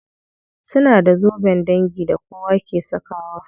Suna da zoben dangi da kowa ke sakawa.